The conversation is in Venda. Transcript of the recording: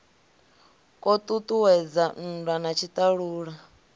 kwo ṱuṱuwedza nndwa na tshiṱalula